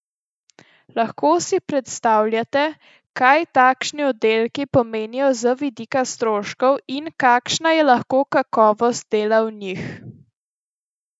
Lahko si le predstavljate, kaj takšni oddelki pomenijo z vidika stroškov in kakšna je lahko kakovost dela v njih.